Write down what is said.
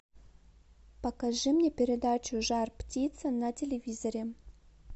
покажи мне передачу жар птица на телевизоре